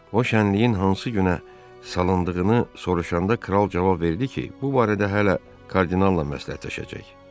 O şənliyin hansı günə salındığını soruşanda kral cavab verdi ki, bu barədə hələ kardinalla məsləhətləşəcək.